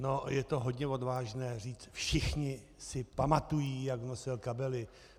No, je to hodně odvážné říct - všichni si pamatují, jak nosil kabely.